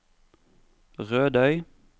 Rødøy